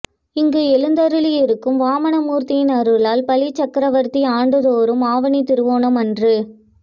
இங்கு எழுந்து அருளி இருக்கும் வாமன மூர்த்தியின் அருளால் பலி சக்கரவர்த்தி ஆண்டு தோறும் ஆவணி திருவோணம் அன்று